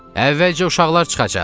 Əvvəlcə uşaqlar çıxacaq.